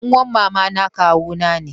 Ɗan'uwar mamata kawuna ne.